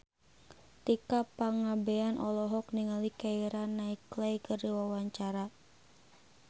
Tika Pangabean olohok ningali Keira Knightley keur diwawancara